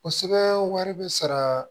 Kosɛbɛ wari bɛ sara